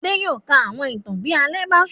Adé yóò ka àwọn ìtàn bí alẹ́ bá ṣú.